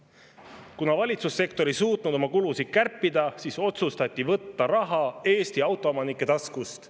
Kuna valitsussektor ei suutnud oma kulusid kärpida, siis otsustati võtta raha Eesti autoomanike taskust.